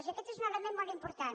i aquest és un element molt important